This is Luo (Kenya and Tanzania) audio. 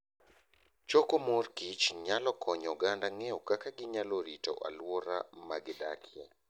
Choko mor kich nyalo konyo oganda ng'eyo kaka ginyalo rito alwora ma gidakie.